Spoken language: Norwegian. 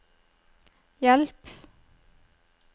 hjelp